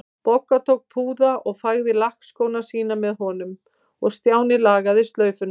Bogga tók púða og fægði lakkskóna sína með honum og Stjáni lagaði slaufuna.